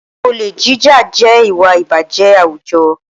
Olè jíjà jẹ́ ìwà ìbàjẹ́ àwùjọ